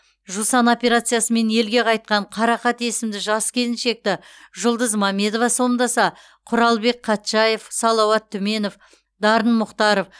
жусан операциясымен елге қайтқан қарақат есімді жас келіншекті жұлдыз мамедова сомдаса құралбек қатшаев салауат түменов дарын мұхтаров